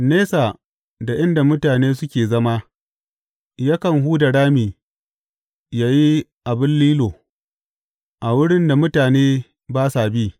Nesa da inda mutane suke zama, yakan huda rami yă yi abin lilo, a wurin da mutane ba sa bi.